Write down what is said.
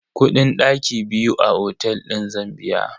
Kudin daki biyu a otel din zan biya.